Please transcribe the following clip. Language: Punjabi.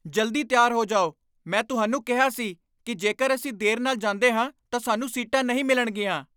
ਜਲਦੀ ਤਿਆਰ ਹੋ ਜਾਓ! ਮੈਂ ਤੁਹਾਨੂੰ ਕਿਹਾ ਸੀ ਕਿ ਜੇਕਰ ਅਸੀਂ ਦੇਰ ਨਾਲ ਜਾਂਦੇ ਹਾਂ ਤਾਂ ਸਾਨੂੰ ਸੀਟਾਂ ਨਹੀਂ ਮਿਲਣਗੀਆਂ।